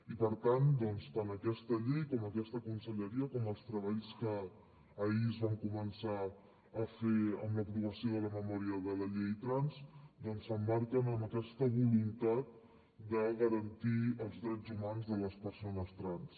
i per tant tant aquesta llei com aquesta conselleria i els treballs que ahir es van començar a fer amb l’aprovació de la memòria de la llei trans s’emmarquen en aquesta voluntat de garantir els drets humans de les persones trans